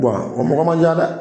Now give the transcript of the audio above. o mɔgɔ man ca dɛ